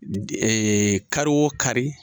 kari o kari